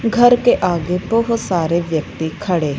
घर के आगे बहुत सारे व्यक्ति खड़े--